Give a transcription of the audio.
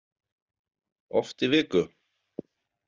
Oft í viku?